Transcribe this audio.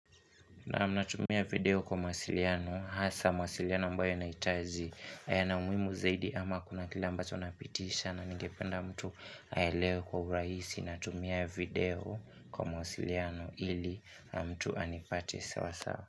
Naam, natumia video kwa masiliano, hasa mawasiliano ambayo na yanahitaji, yana umuhimu zaidi ama kuna kila ambacho napitisha na ningependa mtu aelewe kwa urahisi natumia video kwa masiliano ili na mtu anipate sawa sawa.